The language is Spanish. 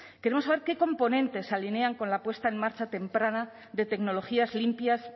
queremos saber qué componentes se alinean con la puesta en marcha temprana de tecnologías limpias